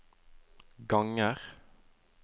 ganger